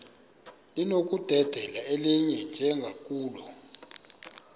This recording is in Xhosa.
linokudedela elinye njengakule